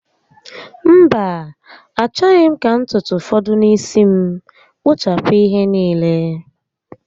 Mba, achọghị m ka ntutu fọdụ n'isi m. Kpụchapụ ihe niile